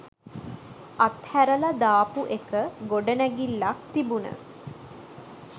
අත්හැරල දාපු එක ගොඩනැගිල්ලක් තිබුන